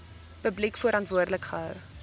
publiek verantwoordelik gehou